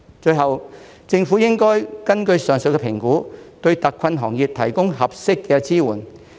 最後，政府應該根據上述評估，對特困行業提供合適的支援。